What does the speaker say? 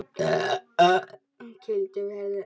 Gildin verða önnur.